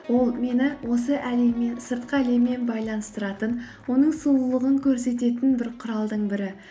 ол мені осы әлеммен сыртқы әлеммен байланыстыратын оның сұлулығын көрсететін бір құралдың бірі